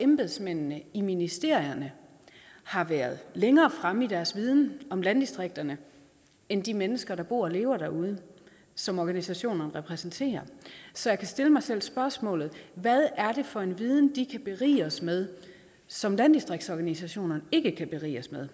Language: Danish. embedsmændene i ministerierne har været længere fremme i deres viden om landdistrikterne end de mennesker der bor og lever derude som organisationerne repræsenterer så jeg kan stille mig selv spørgsmålet hvad er det for en viden de kan berige os med som landdistriktsorganisationerne ikke kan berige os med